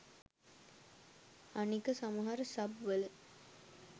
අනික සමහර සබ් වල